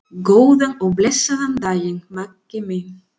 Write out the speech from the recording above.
Góðan og blessaðan daginn, Maggi minn.